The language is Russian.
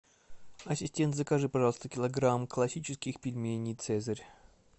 ассистент закажи пожалуйста килограмм классических пельменей цезарь